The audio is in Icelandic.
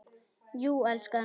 Jú, elskan.